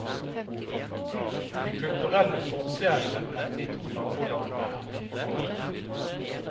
De kulturelle forskjellene mellom de to nabolandene er minimale.